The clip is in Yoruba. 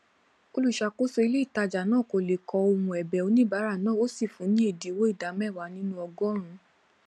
olùṣàkóso ilé ìtajà náà kò lè kọ ohùn ẹbẹ oníbàárà náà o sì fun ni ẹdínwó ìdá méwàá nínú ọgọrùnún